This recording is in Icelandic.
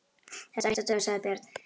Þetta ætti að duga, sagði Björn.